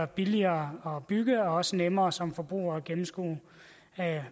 billigere at bygge og så nemmere som forbruger at gennemskue